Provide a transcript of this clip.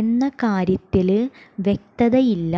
എന്ന കാര്യത്തില് വ്യക്തതയില്ല